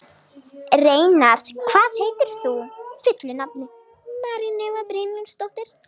Reynarð, hvað heitir þú fullu nafni?